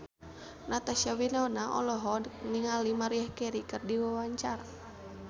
Natasha Wilona olohok ningali Maria Carey keur diwawancara